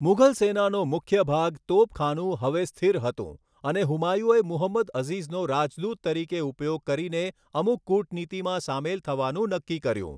મુઘલ સેનાનો મુખ્ય ભાગ, તોપખાનું, હવે સ્થિર હતું અને હુમાયુએ મુહમ્મદ અઝીઝનો રાજદૂત તરીકે ઉપયોગ કરીને અમુક કૂટનીતિમાં સામેલ થવાનું નક્કી કર્યું.